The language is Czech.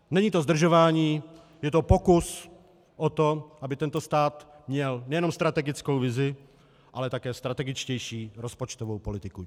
Není to zdržování, je to pokus o to, aby tento stát měl nejenom strategickou vizi, ale také strategičtější rozpočtovou politiku.